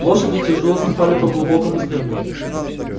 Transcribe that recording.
лошади тяжело ступали по глубокому снегу